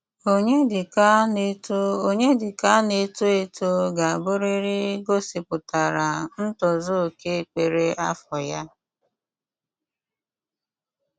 Ọnyédíkà ná-étò Ọnyédíkà ná-étò étò gà-àbụ́rị́rị́ gósípùtárá ntòzù óké kpérè àfọ́ yá.